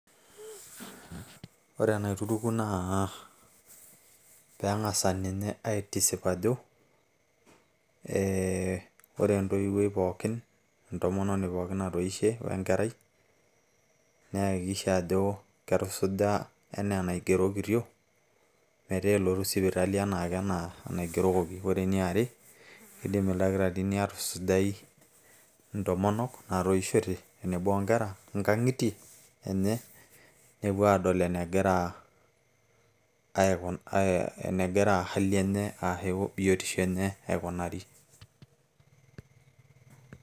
ore enaituruku naa peeng'asa ninye aitisip ajo ee ore entoiwuoi pookin entomononi pooki natoishe wenkerai neyakikisha ajo ketusuja enaa enaigerokitio metaa elotu sipitali enaake enaa enaigerokoki ore ene are kidim ildakitarini aatusujai intomonok naatoishote tenebo onkera nkang'itie enye nepuo aadol enegira hali enye aashu biotisho aikunari.